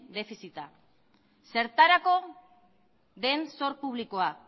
defizita zertarako den zor publikoa